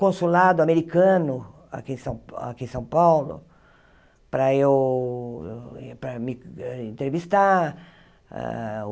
consulado americano aqui em São Pa aqui em São Paulo para eu para me entrevistar.